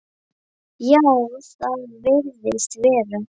Já, það virðist vera.